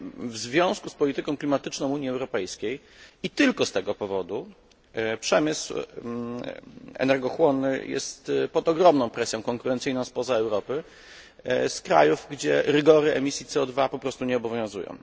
W związku z polityką klimatyczną Unii Europejskiej i tylko z tego powodu przemysł energochłonny jest pod ogromną presją konkurencyjną spoza Europy, z krajów, gdzie rygory dotyczące emisji CO po prostu nie obowiązują.